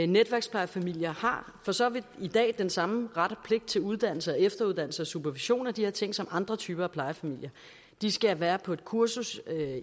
netværksplejefamilier har for så vidt i dag den samme ret og pligt til uddannelse og efteruddannelse og supervision af de her ting som andre typer af plejefamilier de skal være på et kursus